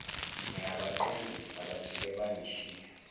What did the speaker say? ngiyabaqondisa bajike bangishiye